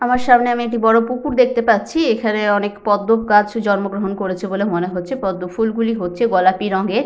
আমার সামনে আমি একটি বড় পুকুর দেখতে পাচ্ছি। এখানে অনেক পদ্ম গাছও জন্মগ্রহণ করেছে বলে মনে হচ্ছে। পদ্ম ফুলগুলি হচ্ছে গোলাপী রঙের।